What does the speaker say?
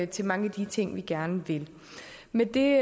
til mange af de ting vi gerne vil med det